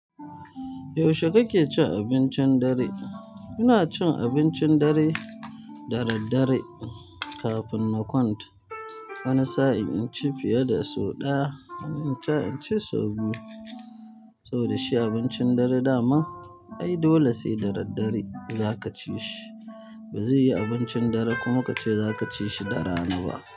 Yaushe kake cin abincin dare? Ina cin abincin dare da daddare kafin na kwanta. Wani sa'in inci fiye da sau ɗaya, wani sa'in inci sau biyu. To dashi abincin dare dama? Ai dole sai da daddare za ka ci shi, ba zai yi abincin dare kuma ka ce za ka ci shi da rana ba.